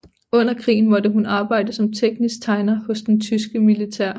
Under krigen måtte hun arbejde som teknisk tegner hos det tyske militær